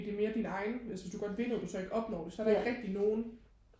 det mere din egen altså hvis du godt vil noget og du så ikke opnår det så er der ikke nogen